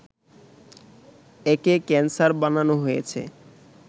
একে ক্যানসার বানানো হয়েছে